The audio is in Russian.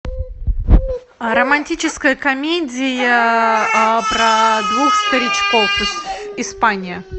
романтическая комедия про двух старичков испания